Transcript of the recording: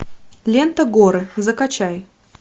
лента горы закачай